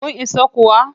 Kun isa kuwa?